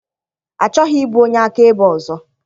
Achọghị ịbụ onye akaebe ọzọ.